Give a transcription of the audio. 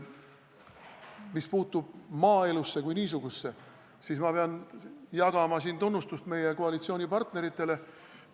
Mis puutub maaelusse kui niisugusesse, siis ma pean jagama siin tunnustust meie koalitsioonipartneritele.